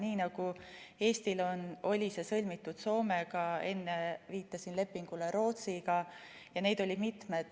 Nii nagu Eestil oli see sõlmitud Soomega, enne viitasin lepingule Rootsiga ja neid oli mitmeid.